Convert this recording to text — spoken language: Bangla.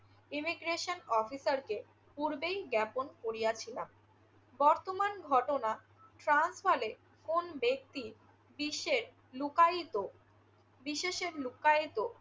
ইমিগ্রেশন অফিসারকে পূর্বেই জ্ঞাপন করিয়াছিলাম। বর্তমান ঘটনা ট্রান্সভালে কোন ব্যক্তি বিশ্বের লুকায়িত~ বিশেষে লুকায়িত